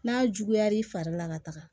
N'a juguya l'i fari la ka taga